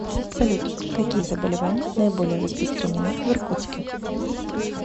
салют какие заболевания наиболее распространнены в иркутске